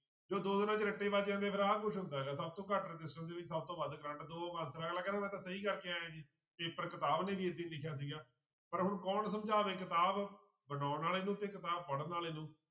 ਜਦੋਂ ਦੋ ਦਿਨਾਂ 'ਚ ਰੱਟੇ ਵੱਜ ਜਾਂਦੇ ਫਿਰ ਆਹ ਕੁਛ ਹੁੰਦਾ ਗਾ ਸਭ ਤੋਂ ਘੱਟ resistance ਦੇ ਵਿੱਚ ਸਭ ਤੋਂ ਵੱਧ ਕਰੰਟ ਅਗਲਾ ਕਹਿੰਦਾ ਮੈਂ ਤਾਂ ਸਹੀ ਕਰਕੇ ਆਇਆ ਜੀ, ਪੇਪਰ ਕਿਤਾਬ ਨੇ ਵੀ ਏਦਾਂ ਹੀ ਲਿਖਿਆ ਸੀਗਾ, ਪਰ ਹੁਣ ਕੌਣ ਸਮਝਾਵੇ ਕਿਤਾਬ ਬਣਾਉਣ ਵਾਲੇ ਨੂੰ ਤੇ ਕਿਤਾਬ ਪੜ੍ਹਨ ਵਾਲੇ ਨੂੰ।